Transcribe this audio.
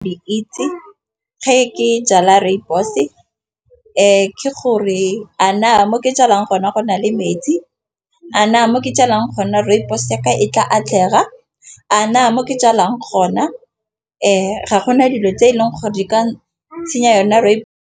Di itse ge ke jala rooibos ke gore, a na mo ke jalang gona go na le metsi. A na mo ke jalang go nna rooibos e ka e tla atlega. A na mo ke jalang gona ga gona dilo tse eleng gore di ka senya yona rooibos.